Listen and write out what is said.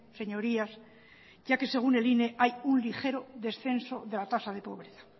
señorías ya que según el ine hay un ligero descenso de la tasa de pobreza